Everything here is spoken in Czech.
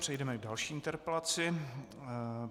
Přejdeme k další interpelaci.